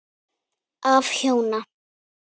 Af hjóna